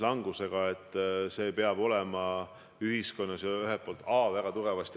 Lõpetan selle küsimuse käsitlemise.